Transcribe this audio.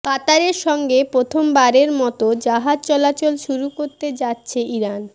কাতারের সঙ্গে প্রথমবারের মতো জাহাজ চলাচল শুরু করতে যাচ্ছে ইরান